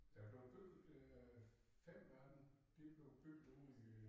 Der bleven bygget øh 5 af dem de blev bygget ude i